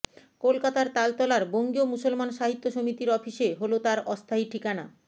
কলকাতার তালতলার বঙ্গীয় মুসলমান সাহিত্য সমিতির অফিসে হলো তার অস্থায়ী ঠিকানা